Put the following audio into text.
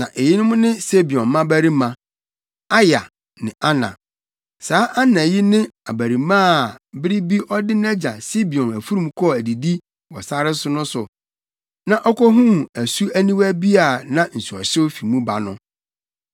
Na eyinom ne Sibeon mmabarima: Aya ne Ana. Saa Ana yi ne abarimaa a, bere bi ɔde nʼagya Sibeon mfurum kɔɔ adidi wɔ sare no so a okohuu asu aniwa bi a na nsuɔhyew fi mu ba no.